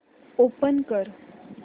open कर